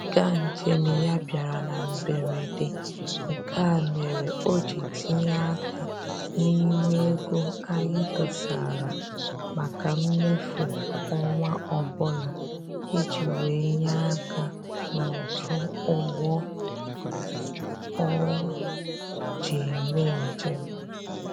Ịga njem ya a bịara na mberede, nke a mere o ji tinye aka n'ime ego anyị dosara maka mmefu ọnwa ọbụla iji wee nye aka n'ụtụ ụgbọ o ji eme njem